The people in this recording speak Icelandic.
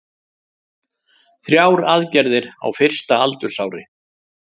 Þrjár aðgerðir á fyrsta aldursári